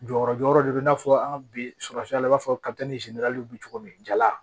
Jɔyɔrɔ jɔyɔrɔ de bɛ i n'a fɔ an ka bi sɔgɔfiyan i b'a fɔ bɛ cogo min jala